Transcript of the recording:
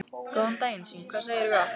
Góðan daginn svín, hvað segirðu gott?